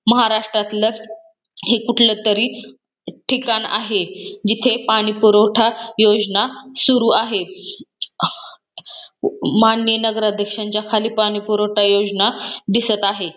महाराष्ट्रतल हे कुठला तरी ठिकाण आहे जिथे पानी पुरवठा योजना सुरू आहे माननीय नगराध्यक्षांच्या खाली पानी पुरवठा योजना दिसत आहे.